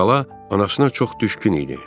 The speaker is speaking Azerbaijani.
Əvvəla, anasına çox düşkün idi.